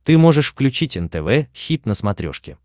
ты можешь включить нтв хит на смотрешке